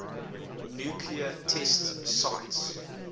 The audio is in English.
nuclear test sites